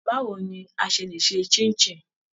Báwo ni a ṣe lè ṣe Ṣín-in-ṣìn!